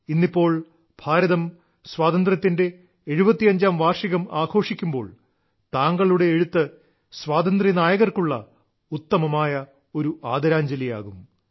ഇന്നിപ്പോൾ ഭാരതം സ്വാതന്ത്ര്യത്തിന്റെ 75ാം വാർഷികം ആഘോഷിക്കുമ്പോൾ താങ്കളുടെ എഴുത്ത് സ്വാതന്ത്ര്യ നായകർക്കുള്ള ഉത്തമമായ ഒരു ആദരാഞ്ജലിയാകും